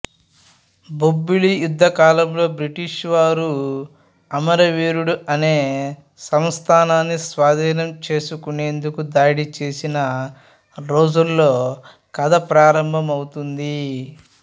బొబ్బిలి యుద్ధం కాలంలో బ్రిటీష్ వారు అమరవీడు అనే సంస్థానాన్ని స్వాధీనం చేసుకునేందుకు దాడిచేసిన రోజుల్లో కథ ప్రారంభమవుతుంది